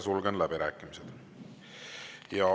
Sulgen läbirääkimised.